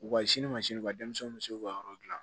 U ka sini mansiniw ka denmisɛnninw bɛ se k'u ka yɔrɔ dilan